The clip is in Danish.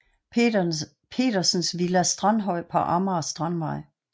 Petersens villa Strandhøj på Amager Strandvej